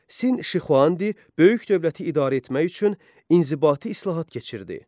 Sin Şixuandi böyük dövləti idarə etmək üçün inzibati islahat keçirtdi.